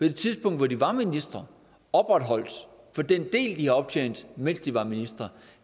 det tidspunkt hvor de var ministre opretholdt for den del de har optjent mens de var ministre